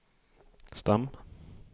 stam